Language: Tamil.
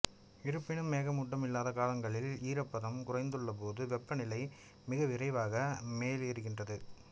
இருப்பினும் மேகமூட்டம் இல்லாத காலங்களில் ஈரப்பதம் குறைந்துள்ளபோது வெப்பநிலை மிகவிரைவாக மேலேறுகின்றது